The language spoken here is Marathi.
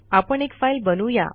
आपण एक फाईल बनवू या